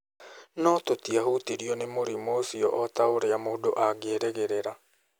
No tũtiahutirio nĩ mũrimũ ũcio o ta ũrĩa mũndũ angĩerĩgĩrĩra.